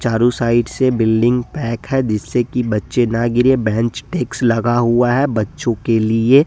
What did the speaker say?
चारों साइड से building pack है जिसे कि बच्चे ना गिरे बेंच डेस्क लगा हुआ है बच्चों के लिए।